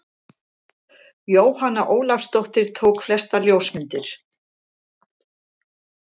Jóhanna Ólafsdóttir tók flestar ljósmyndir.